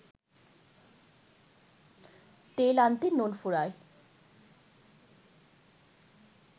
তেল আনতে নুন ফুরায়